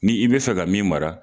Ni i bɛ fɛ ka min mara.